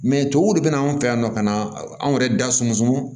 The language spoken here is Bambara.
Mɛ tubabuw de bina an fɛ yan nɔ ka na anw yɛrɛ da sunsun